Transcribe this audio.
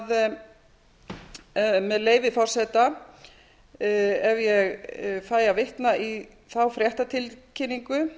fram með leyfi forseta ef ég fæ að vitna í þá fréttatilkynningu